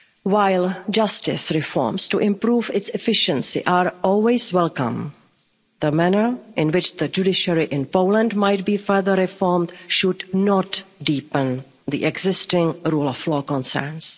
While justice reforms to improve its efficiency are always welcome, the manner in which the judiciary in Poland might be further reformed should not deepen the existing rule of law concerns.